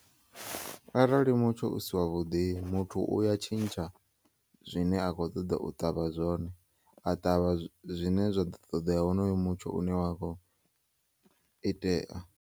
Arali mutsho usi wavhuḓi muthu uya tshintsha zwine a kho ṱoḓa u ṱavha zwone a ṱavha zwine zwa ḓo ṱoḓea wonoyo mutsho une wakho itea.